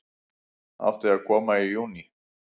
Átti að koma í júní